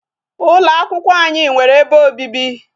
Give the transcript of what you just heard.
Ụlọ akwụkwọ anyị nwere ebe obibi.